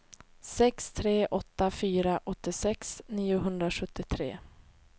sex tre åtta fyra åttiosex niohundrasjuttiotre